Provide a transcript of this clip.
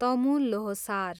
Tamu Lhosar